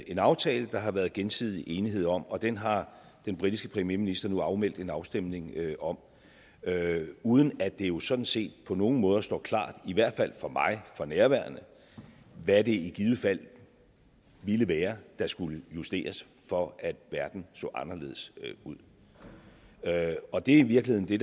en aftale der har været gensidig enighed om og den har den britiske premierminister nu afmeldt en afstemning om uden at det jo sådan set på nogen måder står klart i hvert fald ikke for mig for nærværende hvad det i givet fald ville være der skulle justeres for at verden så anderledes ud og det er i virkeligheden det